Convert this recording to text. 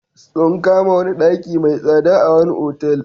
Sun kama wani daki mai tsada a wani otal.